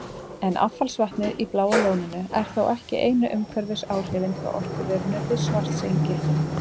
En affallsvatnið í Bláa lóninu er þó ekki einu umhverfisáhrifin frá orkuverinu við Svartsengi.